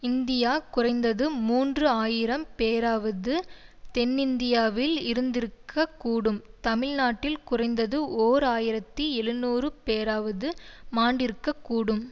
India குறைந்தது மூன்று ஆயிரம் பேராவது தென்னிந்தியாவில் இறந்திருக்கக் கூடும் தமிழ் நாட்டில் குறைந்து ஓர் ஆயிரத்தி எழுநூறு பேராவது மாண்டிருக்கக்கூடும்